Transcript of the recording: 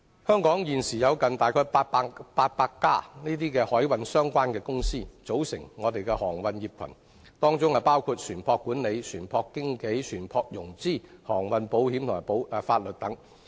香港現時有近800間經營海運相關業務的公司，形成一個航運業群，業務涵蓋船舶管理、船舶經紀、船舶融資、航運保險及法律等。